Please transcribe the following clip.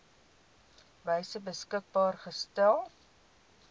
wyse beskikbaar gestel